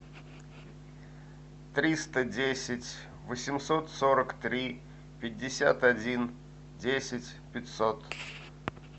триста десять восемьсот сорок три пятьдесят один десять пятьсот